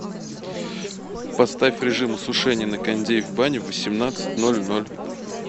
поставь режим осушения на кондее в бане в восемнадцать ноль ноль